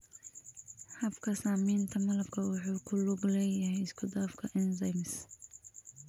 Habka samaynta malabku wuxuu ku lug leeyahay isku dhafka enzymes.